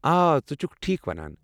آ، ژٕ چھُکھ ٹھیٖکھ ونان۔